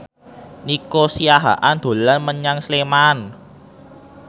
Nico Siahaan dolan menyang Sleman